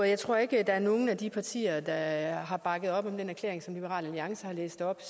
jeg tror ikke der er nogen af de partier der har bakket op om den erklæring som liberal alliance har læst op